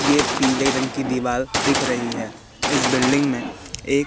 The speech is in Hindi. ये पीले रंग की दिवाल दिख रही है इस बिल्डिंग में एक--